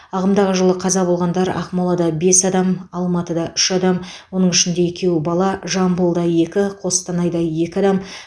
ағымдағы жылы қаза болғандар ақмолада бес адам алматыда үш адам оның ішінде екеуі бала жамбылда екі қостанайда екі адам